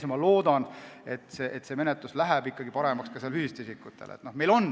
Ma loodan, et see menetlus läheb ikkagi paremaks ka füüsiliste isikute puhul.